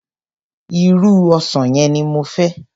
Irú ọsàn yẹn ni mo fẹ́.